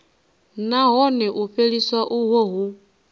nahone u fheliswa uho hu